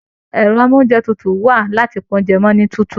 Ẹrọ amounjẹ tútù wa láti pá oúnjẹ mọ ni tútù.